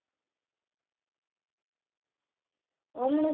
અમનું